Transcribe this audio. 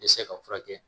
Dɛsɛ ka furakɛ